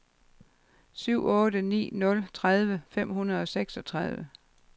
syv otte ni nul tredive fem hundrede og seksogtredive